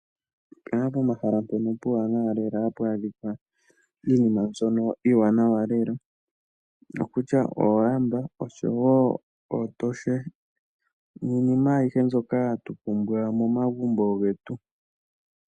Oku kala pomahala mpono puuwanawa lela hapu adhika iinima mbyono iiwanawa lela okutya oolamba oshowo ootoshe niinima ayihe mbyoka hatu pumbwa momagumbo getu